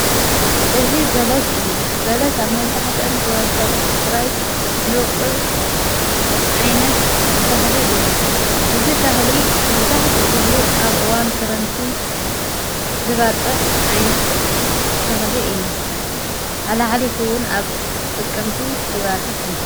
እዝ በለስ እዩ በለስ ኣብ መብዛሕትአን ከባብታት ትግራይ ዘበቊል ዓይነት ተኽሊ እዩ እዝ ተኽሊ መፍዛሕት ጊዜ ኣብ እዋን ክረንቲ ዝባጽሕ ዓይነት ተኽሊ እዩ ሓለ ዓሊፉዉን ኣብ ጠቅምቲ ይባጽሕ እዩ::